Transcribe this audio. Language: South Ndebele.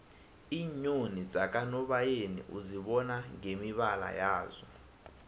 iinyoni zakanobayeni uzibona ngemibala yazo